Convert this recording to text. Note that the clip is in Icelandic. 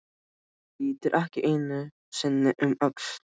Lítur ekki einu sinni um öxl.